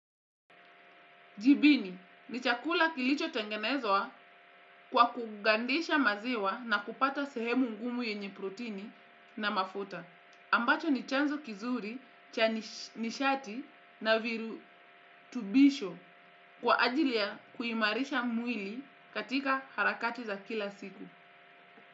Jibini, ni chakula kilichotengenezwa kwa kugandisha maziwa na kupata sehemu ngumu yenye protini na mafuta. Ambacho ni chanzo kizuri cha nishati na virutubisho kwa ajili ya kuimarisha mwili katika harakati za kila siku.